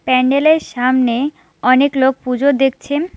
প্যান্ডেলের সামনে অনেক লোক পুজো দেখছেম ।